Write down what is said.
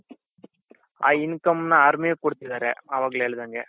ಆ income ನ ಅವ್ರು ಕೊಡ್ತಿದಾರೆ ಅವಾಗ್ಲೆ ಹೇಳ್ದಂಗೆ